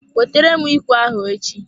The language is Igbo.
Wetere m ikwe ahụ echi!